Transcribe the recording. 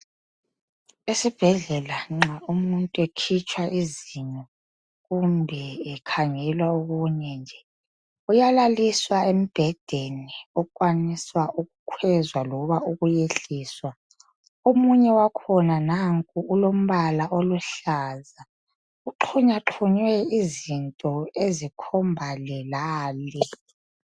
Esibhedlela nxa umutnu ekhitshwa izinyo kumbe ekhangelwa okunye nje uyalaliswa embhedeni okhwaniswa ukukwezwa loba ukwehliswa omunye wakhona nanku ulombala oluhlaza kuxhunywaxhunywa ezikhomba le lale